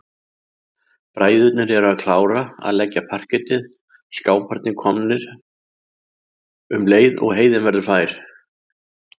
Bræðurnir eru að klára að leggja parkettið, skáparnir koma um leið og heiðin verður fær.